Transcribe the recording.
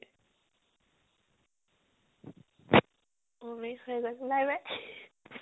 অ ৰে হৈ গল, bye bye